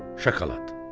Şokolad.